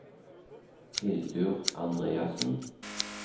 Hildur Andreassen